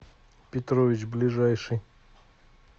петрович ближайший